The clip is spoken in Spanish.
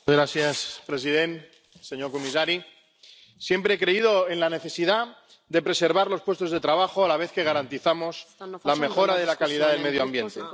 Señor presidente, señor comisario, siempre he creído en la necesidad de preservar los puestos de trabajo a la vez que garantizamos la mejora de la calidad del medio ambiente.